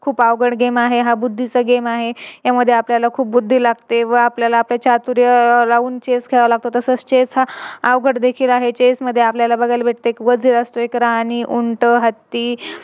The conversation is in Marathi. खूप अवघड Game आहे. हा बुद्धीचा Game आहे त्यामध्ये आपल्याला खूप बुद्दी लागते व आपल्याला लावून Chess खेळ लागते व तसेच Chess हा अवघड देखील आहे. Chess मध्ये आपल्याला बघायला भेटते कि एक वझीर असतो एक राणी, उंट, हत्ती अं